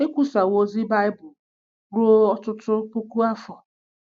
Ekwusawo ozi Bible ruo ọtụtụ puku afọ.